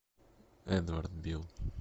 эдвард бил